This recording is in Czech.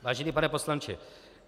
"Vážený pane poslanče.